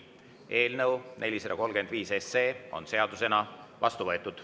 Eelnõu 435 on seadusena vastu võetud.